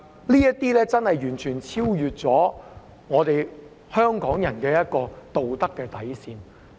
這已經完全超越了香港人的道德底線。